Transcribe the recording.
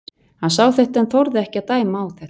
Hann sá þetta en þorði ekki að dæma á þetta.